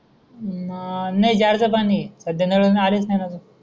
ना नाही जार पाणी है सद्या नळ न आलेस नाही अजून?